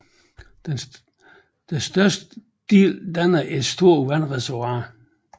Den største del danner et stort vandreservoir